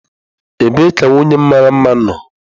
Ebee ka nwunye m mara mma nọ?